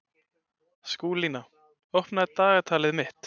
Skúlína, opnaðu dagatalið mitt.